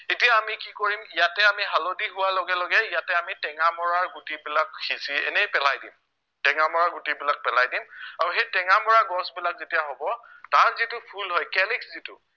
এতিয়া আমি কি কৰিম ইয়াতে আমি হালধি হোৱাৰ লগে লগে ইয়াতে আমি টেঙামৰাৰ গুটিবিলাক সিঁচি এনেই পেলাই দিম টেঙামৰাৰ গুটিবিলাক পেলাই দিম আৰু সেই টেঙামৰাৰ গছবিলাক যেতিয়া হব তাৰ যিটো ফুল হয় calyx যিটো